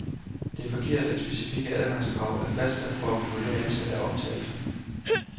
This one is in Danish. Det er forkert, at de specifikke adgangskrav er fastsat for at regulere antallet af optagelser.